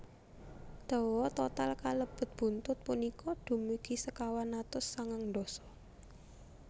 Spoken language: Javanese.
Dawa total kalebet buntut punika dumugi sekawan atus sangang dasa